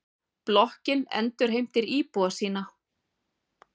Blokkin endurheimtir íbúa sína.